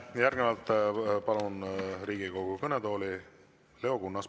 Järgnevalt palun Riigikogu kõnetooli Leo Kunnase.